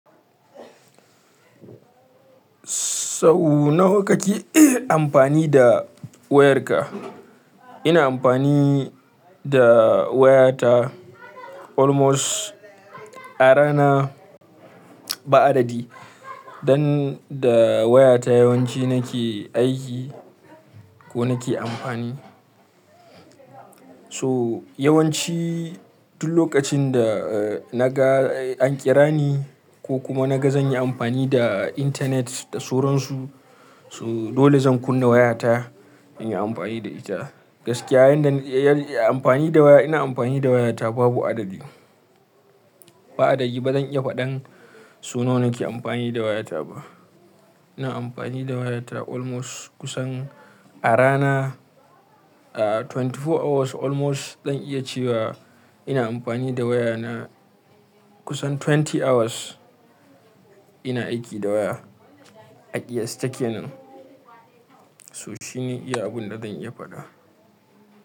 Sau nawa kake amfani da wayarka? Ina amfani da wayata almost a rana ba adadi. Dan da wayata yawanci nake aiki ko nake amfani. So yawanci duk lokacin da na ga an ƙira ni ko kuma na ga zan yi amfani da intanet da suransu, so dole zan kunna wayata in yi amfani da ita. Gaskiya yanda yana amfani da waya, ina amfani da wayata babu adadi. Ba adadi ba zan iya faɗan sau nawa nake amfani da wayata ba. Ina amfani da wayata almost kusan a rana, a 24 hours almost zan iya cewa ina amfani da wayana kusan 20 hours ina aiki da waya a kiyasta kenan. So shine iya abun da zan iya faɗa.